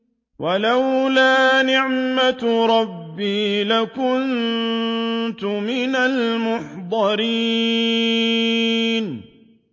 وَلَوْلَا نِعْمَةُ رَبِّي لَكُنتُ مِنَ الْمُحْضَرِينَ